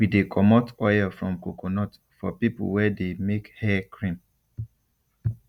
we de comot oil from coconut for people wey de make hair cream